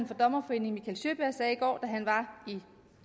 for dommerforeningen mikael sjöberg sagde i går da han var i